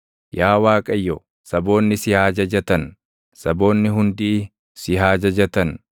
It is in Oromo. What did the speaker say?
Yaa Waaqayyo, saboonni si haa jajatan; saboonni hundii si haa jajatan.